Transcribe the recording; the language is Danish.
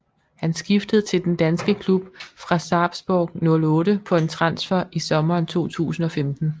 Han skiftede til den danske klub fra Sarpsborg 08 på en transfer i sommeren 2015